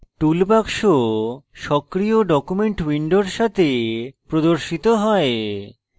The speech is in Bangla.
toolbox সক্রিয় document window সাথে প্রদর্শিত হয়